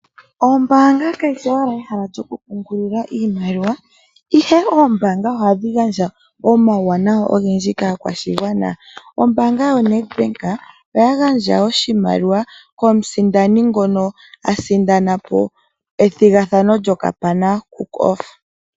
Ombaanga kayishi owala ehala lyokupungulila iimaliwa ihe oombaanga ohadhi gandja omauwanawa ogendji kaakwashigwana. Ombaanga yoNedBank oya gandja oshimaliwa komusindani ngono asindana po ethigathano lyoKAPANA COOK OFF.